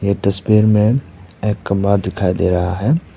यह तस्वीर में एक कमरा दिखाई दे रहा है।